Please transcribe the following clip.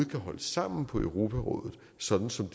kan holde sammen på europarådet sådan som